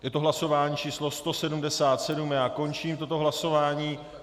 Je to hlasování číslo 177 a já končím toto hlasování.